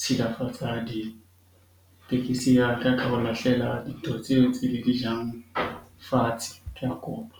tshilafatsa ya ditekisi ya ka ka ho lahlela dintho tseo tse le di jang fatshe. Ke a kopa.